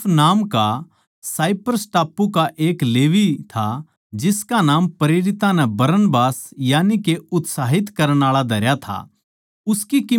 यूसुफ नाम का साइप्रस टापू का एक लेवी था जिसका नाम प्रेरितां नै बरनबास यानिके उत्साहित करण आळा धरया था